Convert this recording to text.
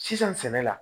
Sisan sɛnɛ la